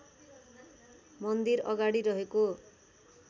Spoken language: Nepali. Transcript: मन्दिर अगाडि रहेको